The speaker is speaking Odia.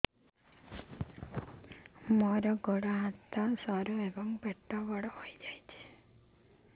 ମୋର ଗୋଡ ହାତ ସରୁ ଏବଂ ପେଟ ବଡ଼ ହୋଇଯାଇଛି